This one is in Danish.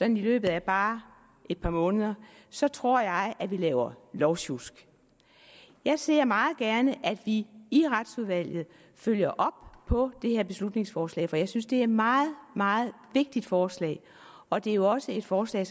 i løbet af bare et par måneder så tror jeg at vi laver lovsjusk jeg ser meget gerne at vi i i retsudvalget følger op på det her beslutningsforslag for jeg synes det er et meget meget vigtigt forslag og det er jo også et forslag